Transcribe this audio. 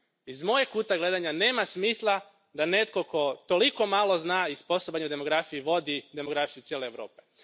Iz mojeg kuta gledanja nema smisla da netko tko toliko malo zna i sposoban je u demografiji vodi demografiju cijele Europe.